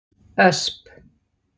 Ösp